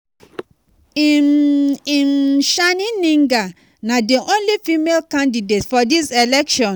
um um chaning gninga na di only female candidate for dis election.